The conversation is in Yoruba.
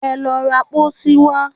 Ẹ lọ ra pósí wá